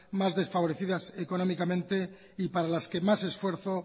más desfavorecidas económicamente y para las que más esfuerzo